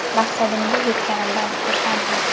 Maqsadimga yetganimdan xursandman.